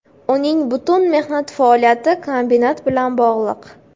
Uning butun mehnat faoliyati kombinat bilan bog‘liq.